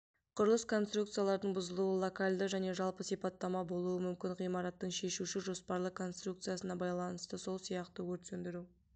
құрылыс конструкциялардың бұзылуы локальды және жалпы сипатта болуы мүмкін ғимараттың шешуші жоспарлы конструкциясына байланысты сол сияқты өрт сөндіру